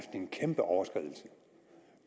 en kæmpe overskridelse